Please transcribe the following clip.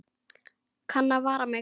Kann að vara mig.